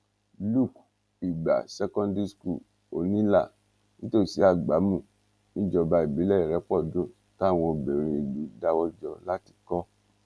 luke lgbá secondary school onílà nítòsí àgbámù níjọba ìbílẹ ìrépọdùn táwọn obìnrin ìlú dáwọ jọ láti kọ